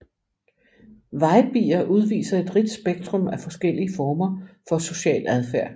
Vejbier udviser et rigt spektrum af forskellige former social adfærd